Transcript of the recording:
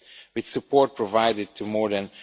With support provided to more than